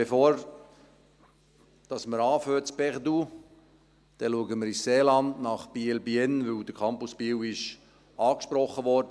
Bevor wir in Burgdorf anfangen, schauen wir ins Seeland nach Biel/Bienne, weil der Campus Biel angesprochen wurde.